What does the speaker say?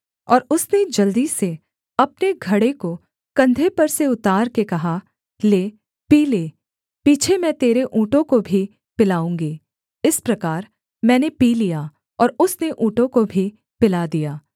और उसने जल्दी से अपने घड़े को कंधे पर से उतार के कहा ले पी ले पीछे मैं तेरे ऊँटों को भी पिलाऊँगी इस प्रकार मैंने पी लिया और उसने ऊँटों को भी पिला दिया